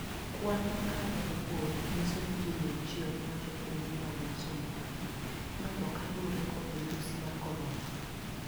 Kwani makare mogol niyiso nii ji 100 ma jopiny no ma somali notho kaluore kod midusi mar koronia.